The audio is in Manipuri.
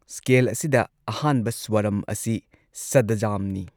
ꯁ꯭ꯀꯦꯜ ꯑꯁꯤꯗ ꯑꯍꯥꯟꯕ ꯁ꯭ꯋꯥꯔꯝ ꯑꯁꯤ ꯁꯗꯖꯥꯝꯅꯤ ꯫